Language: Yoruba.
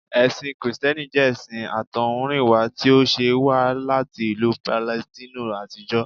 Ẹ̀sìn kìrìtẹ́nì jẹ́ ẹṣin àtọ̀húnrìnwá tí ó ṣẹ̀ wá láti ìlú Palestine àtijọ́